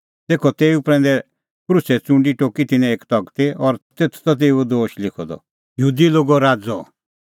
तेखअ तेऊ प्रैंदै क्रूसे च़ुंडी टोकी तिन्नैं एक तगती और तेथ त तेऊओ दोश लिखअ यहूदी लोगो राज़अ